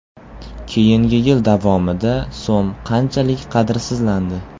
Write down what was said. Keyingi yil davomida so‘m qanchalik qadrsizlandi?